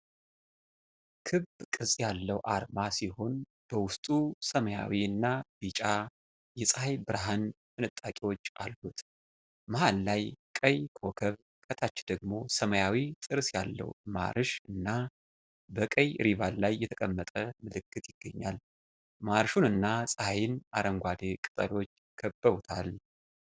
ክብ ቅርጽ ያለው አርማ ሲሆን፣ በውስጡ ሰማያዊ እና ቢጫ የፀሐይ ብርሃን ፍንጣቂዎች አሉት። መሃል ላይ ቀይ ኮከብ፣ ከታች ደግሞ ሰማያዊ ጥርስ ያለው ማርሽ ና በቀይ ሪባን ላይ የተቀመጠ ምልክት ይገኛል። ማርሹንና ፀሐይን አረንጓዴ ቅጠሎች ከበውታል።